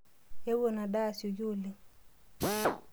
Ewo ina daa asioki oleng.